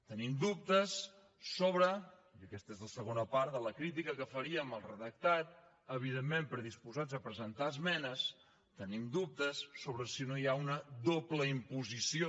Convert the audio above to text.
tenim dubtes sobre i aquesta és la segona part de la crítica que faríem al redactat evidentment predisposats a presentar hi esmenes si no hi ha una doble imposició